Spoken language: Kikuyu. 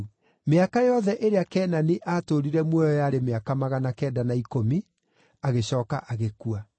Mĩaka yothe ĩrĩa Kenani aatũũrire muoyo yarĩ mĩaka magana kenda na ikũmi, agĩcooka agĩkua.